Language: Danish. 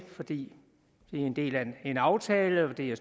det fordi det er en del af en aftale det er